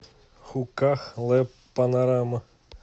хуках лэб панорама